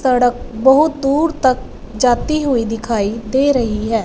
सड़क बहुत दूर तक जाती हुईं दिखाई दे रही हैं।